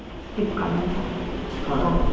Flipkart ಅಲ್ಲಾ okay .